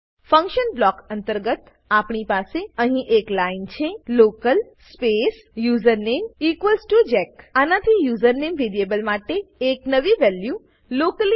function block અંતર્ગત આપણી પાસે અહી એક લાઈન છે local space username equals to Jack આનાથી યુજર નેમ વેરીએબલ માટે એક નવી વેલ્યુ લોકલી